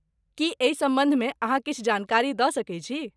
की एहि सम्बन्धमे अहाँ किछु जानकारी दऽ सकैत छी?